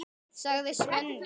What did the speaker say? sagði Svenni.